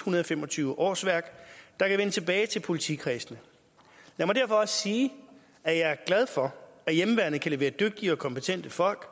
hundrede og fem og tyve årsværk der kan vende tilbage til politikredsene lad mig derfor også sige at jeg er glad for at hjemmeværnet kan levere dygtige og kompetente folk